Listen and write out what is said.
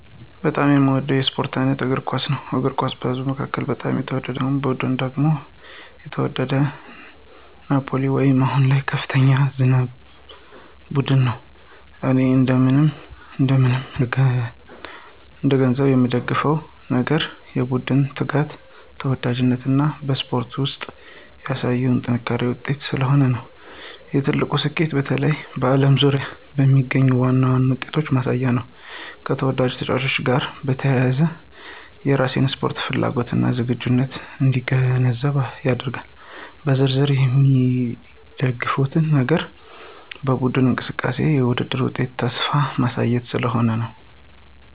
በጣም የሚወደው የስፖርት አይነት እግር ኳስ ነው። እግር ኳስ በህዝብ መካከል በጣም የተወደደ ስፖርት ሲሆን ቡድን ደግሞ የተወደደው ናፕሊየን ወይም አሁን ከፍተኛ ዝነኛ ቡድን ነው። እኔ እንደምን እንደምን እገነዘብ የምንደግፍ ነገር የቡድኑ ትጋት፣ ተወዳጅነት እና በስፖርት ውስጥ ያሳየው የጥራት ውጤት ስለሆነ ነው። የትልቁ ስኬቱ በተለይ በዓለም ዙሪያ የሚገነዘብ ዋነኛ ውጤትን ማሳያ ነው፣ ከተወዳጅ ተጫዋቾች ጋር በተያያዘ የራሴን ስፖርት ፍላጎት እና ዝግጅት እንዲገነዘብ ያደርጋል። በዝርዝር የሚደግፉት ነገር በቡድኑ እንቅስቃሴ፣ የውድድር ውጤትና ተስፋ ማሳያ ስለሆነ ነው።